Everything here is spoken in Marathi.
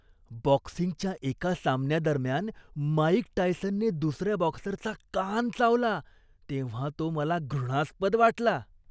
बॉक्सिंगच्या एका सामन्यादरम्यान माईक टायसनने दुसऱ्या बॉक्सरचा कान चावला तेव्हा तो मला घृणास्पद वाटला.